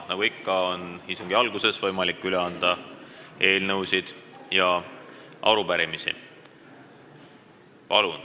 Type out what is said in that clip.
Nagu ikka, on istungi alguses võimalik üle anda eelnõusid ja arupärimisi.